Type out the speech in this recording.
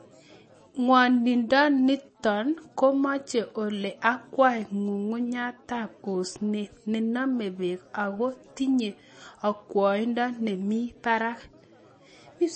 Ing'wondoniton komoche ole akwai, ng'ung'unyatab osnet nenome beek ako tinye okwoindo nemi barak.